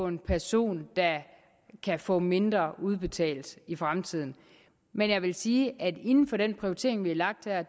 en person der kan få mindre udbetalt i fremtiden men jeg vil sige at inden for den prioritering vi har lagt her